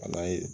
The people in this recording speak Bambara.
A n'a ye